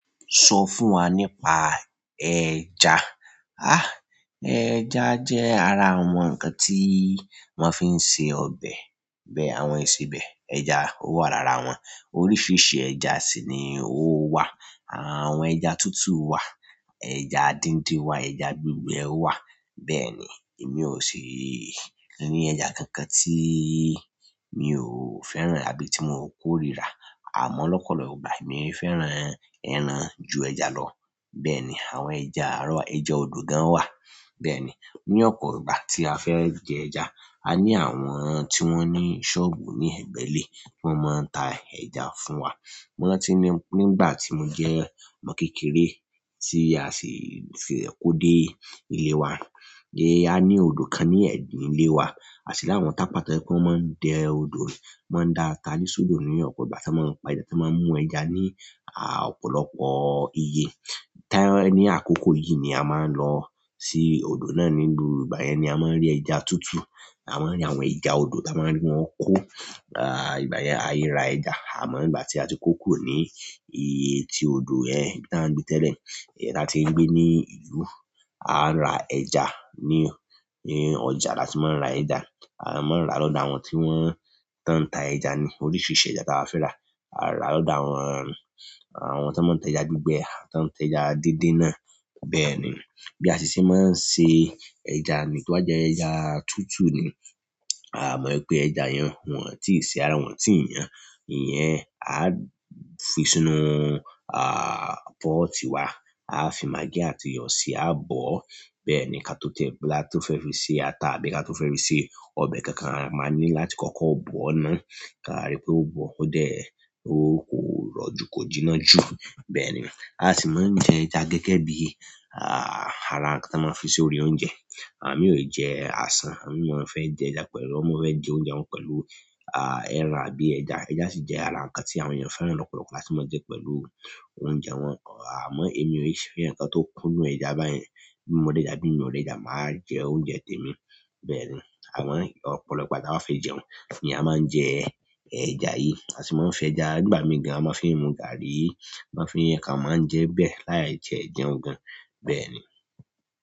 Sọ fún wa nípa ẹja. Há! Ẹja jẹ́ ara àwọn ǹkan tí wọ́n fi ń ṣe ọbẹ̀, bẹ́ẹ̀ àwọn ìsebẹ̀ ẹja ó wà lára wọn. Oríṣiríṣi ẹja sì ni ó wà. Àwọn ẹja tútù wà, ẹja díndín wà, ẹja gbígbẹ wà. Bẹ́ẹ̀ ni, èmi ò ṣi ni ẹja kankan tí mi ò fẹ́ràn àbí tí mo kórìíra. Àmọ́ lọ́pọ̀lọpọ̀ ìgbà mi fẹ́ràn ẹran ju ẹja lọ. Bẹ́ẹ̀ ni, àwọn ẹja arọ̀ wa ẹja odò gan wà. Bẹ́ẹ̀ni, ni opo gba ti a fe je ẹja ani àwọn ti won ni soobu ni egbe ile ti won maa n ta ẹja fún wa. Mo rántí nígbà tí mo jẹ́ ọmọ kékeré tí a sì fi rẹ̀ kó dé ilé wa. Gẹ́gẹ́ bí a ní odò kan ní ẹ̀yín ilé wa, à sì láwọn tápà tojepe wọ́n máa ń dẹ odò, wọ́n máa ń dá a ta ní sodo ní ọ̀pọ̀ ìgbà tí wọ́n máa ń pa tí wọ́n máa ń mú ẹja ní à ọ̀pọ̀lọpọ̀ iye. Tere ni àkókò yìí ni a máa ń lọ sí odò náà ní gbogbo gbà yẹn ni a máa ń rí ẹja tútù. A maa n ri àwọn ẹja odo ti a maa n ri won ko a igbayen airaa ẹja àmọ́ ígbà tí a ti kó kúrò ní iye tí odò yẹn tan gbé tẹ́lẹ̀. Then á tí ń gbé ní ìlú, a ra ẹja ní, ní ọjà láti máa ń ra ẹja. A máa ń ra lọ́dọ̀ àwọn tí wọ́n, tan ń ta ẹja ni. Oríṣiríṣi ẹja tí ba fẹ́ rà, a rà lọ́dọ̀ àwọn, àwọn tí man ń tẹja gbígbẹ, tan tẹja díndín náà. Bẹ́ẹ̀ ni. Bi asi se maa n se ẹja ni to ba je ẹja tutu ni àmọ́ ẹ pé ẹja yẹn wọ́n ò tíì ṣe ara wọn, tí ì yàn. Ìyẹn a fi sínú à pọ́ọ̀tì wa. A fi magí àti iyọ̀ sí i, a bọ̀. Bẹ́ẹ̀ ni ká tó tẹ̀ ká to fẹ́ fi ṣe ata àbí ká tó fẹ́ fi ṣe ọbẹ̀ kankan, a máa ní láti kọ́kọ́ bọ̀o ná. Kaa ri pe o boo o de, o koro ju ko de jina ju. Bẹ́ẹ̀ ni. A sì máa ń jẹ ẹja gẹ́gẹ́ bí à ara ǹkan tí a máa ń fi sí orí oúnjẹ. À mí ò jẹ àsán, à mí máa ń fẹ́ jẹ ẹja pẹ̀lú, ọmọ fẹ́ jẹ oúnjẹ wọn pẹ̀lú à ẹran àbí ẹja. Ẹja sì jẹ́ ara ǹkan tí àwọn èèyàn fẹ́ràn lọ́pọ̀lọpọ̀ láti máa jẹ́ pẹ̀lú oúnjẹ wọn. Àmọ́ èmi ò ṣ fe ǹkan tó kún nù ẹja báyen. Bí mo rejà bí mio ò rejà, màá jẹ oúnjẹ tèmi. Bẹ́ẹ̀ ni. Àmaa ọ̀pọ̀lọpọ̀ ìgbà tia ba fẹ́ jẹun ni a máa ń jẹ ẹja yìí. A sì máa ń fẹ ẹja n ígbà mì gàn a máa ń fi mu gàárì, a máa ń fiin a kan màá ń jẹ bẹ́ẹ̀ láì tie jẹ̀ún gan. Bẹ́ẹ̀ ni.